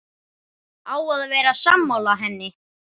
Á að vera sammála henni.